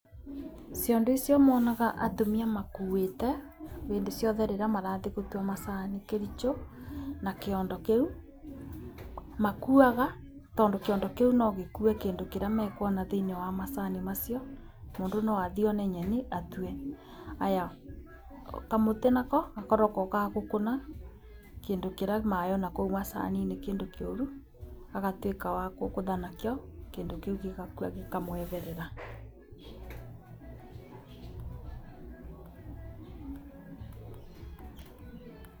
Ciondo icio mwonaga atumia makuĩte hĩndĩ ciothe rĩrĩa marathiĩ gũtua macani Kericho, ma kĩondo kĩu makuaga tondũ kĩondo kĩu no gĩkue kĩndũ kĩrĩa mekũona thĩini wa macani macio. Mũndũ no athiĩ one nyeni atue. Haya, kamũtĩ nako gakoragwo ga gũkũna kĩndũ kĩrauma na kũu macani-inĩ, kĩndũ kĩũru agatuĩka wa kũgũtha nakĩo kĩndũ kĩu gĩgakua gĩkamweherera.